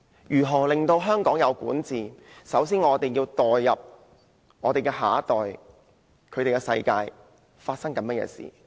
如何令香港有善治，首先就要代入下一代，了解他們的世界正在發生甚麼事情。